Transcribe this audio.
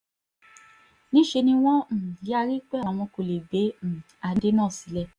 níṣẹ́ ni wọ́n um yarí pé àwọn kò lè gbé um adé náà sílẹ̀